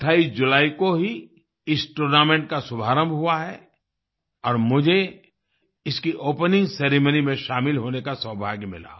28 जुलाई को ही इस टूर्नामेंट का शुभारंभ हुआ है और मुझे इसकी ओपनिंग सेरेमनी में शामिल होने का सौभाग्य मिला